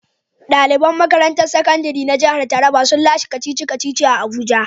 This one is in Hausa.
Daliban makarantun sakandire na jihar Taraba sun lashe kacici-kaci a abuja.